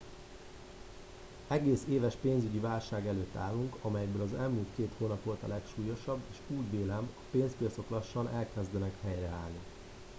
egész éves pénzügyi válság előtt állunk amelyből az elmúlt két hónap volt a legsúlyosabb és úgy vélem a pénzpiacok lassan elkezdenek helyreállni